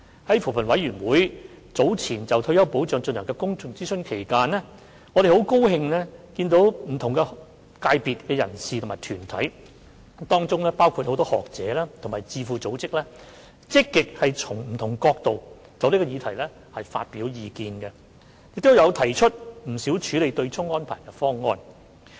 在扶貧委員會早前就退休保障進行的公眾諮詢期間，我們很高興見到不同界別的人士和團體，包括很多學者和智庫組織等，都積極從不同角度就這項議題發表意見，亦提出了不少處理對沖安排的方案。